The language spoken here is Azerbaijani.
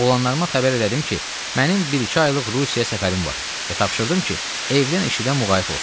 oğlanlarıma xəbər elədim ki, mənim bir-iki aylıq Rusiya səfərim var və tapşırdım ki, evdən eşidən muğayət olsunlar.